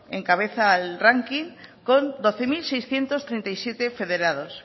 encabeza el ranking con doce mil seiscientos treinta y siete federados